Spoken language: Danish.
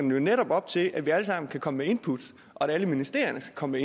jo netop op til at vi alle sammen kan komme med input og at alle ministerierne skal komme